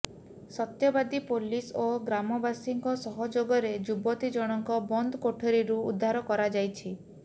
ସତ୍ୟବାଦୀ police ଓ ଗ୍ରାମବାସୀଙ୍କ ସହଯୋଗରେ ଯୁବତୀ ଜଣଙ୍କ ବନ୍ଦ କୋଠରୀରୁ ଉଦ୍ଧାର କରାଯାଇଛି